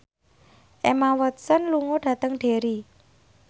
Emma Watson lunga dhateng Derry